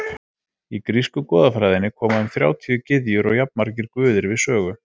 Í grísku goðafræðinni koma um þrjátíu gyðjur og jafnmargir guðir við sögu.